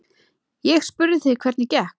Ég spurði þig hvernig gekk.